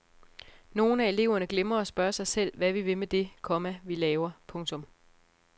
Nogle af eleverne glemmer at spørge sig selv hvad vi vil med det, komma vi laver. punktum